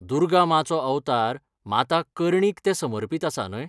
दुर्गा माँचो अवतार माता कर्णीक तें समर्पितआसा न्हय ?